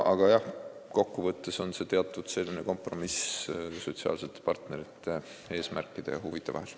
Aga kokkuvõttes võib öelda, et see on teatud kompromiss sotsiaalsete partnerite eesmärkide ja huvide vahel.